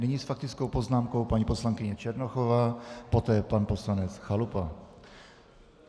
Nyní s faktickou poznámkou paní poslankyně Černochová, poté pan poslanec Chalupa.